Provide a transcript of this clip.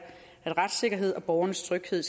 at retssikkerhed og borgernes tryghed